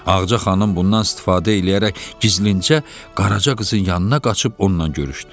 Ağca xanım bundan istifadə eləyərək gizlincə qaraca qızın yanına qaçıb ondan görüşdü.